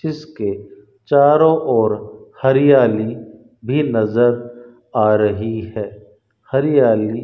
इसके चारों ओर हरियाली भी नजर आ रही है हरियाली --